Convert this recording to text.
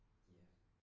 Ja